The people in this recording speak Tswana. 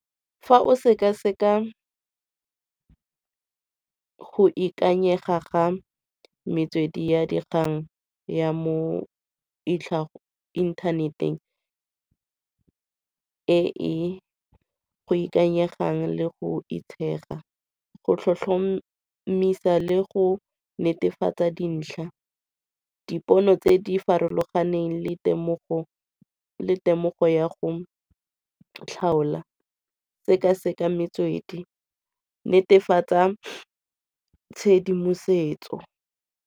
Fa o sekaseka go ikanyega ga metswedi ya dikgang ya mo inthaneteng e e go ikanyegang le go itshega. Go tlhotlhomisa le go netefatsa dintlha dipono tse di farologaneng le temogo ya go tlhaola, sekaseka metswedi, netefatsa tshedimosetso.